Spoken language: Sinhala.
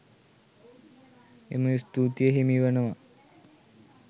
එම ස්තූතිය හිමි වනවා.